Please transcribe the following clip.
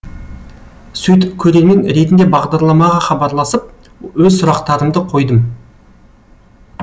сөйтіп көрермен ретінде бағдарламаға хабарласып өз сұрақтарымды қойдым